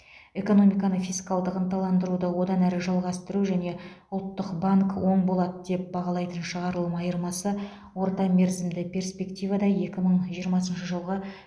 экономиканы фискалдық ынталандыруды одан әрі жалғастыру және ұлттық банк оң болады деп бағалайтын шығарылым айырмасы орта мерзімді перспективада екі мың жиырмасыншы жылғы